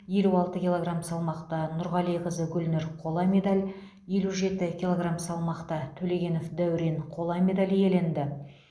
елу алты килограмм салмақта нұрғалиқызы гүлнұр қола медаль елу жеті килограмм салмақта төлегенов дәурен қола медаль иеленді